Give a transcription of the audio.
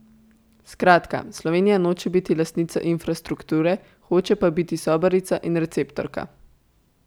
Skratka, Slovenija noče biti lastnica infrastrukture, hoče pa biti sobarica in receptorka.